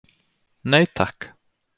Nei takk.